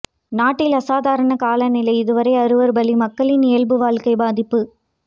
நாட்டில் அசாதாரண காலநிலை இதுவரை ஆறுவர் பலி மக்களின் இயல்பு வாழ்க்கை பாதிப்பு